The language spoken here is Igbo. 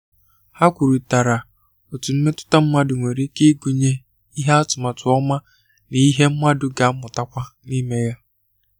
Ha kwurịtara otú mmetụta mmadụ nwere ike ịgụnye ìhè atụmatụ ọma ná ìhè mmadụ ga-amụtakwa n’ime ya